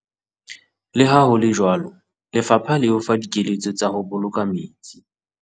Leha ho le jwalo lefapha le o fa dikeletso tsa ho boloka metsi.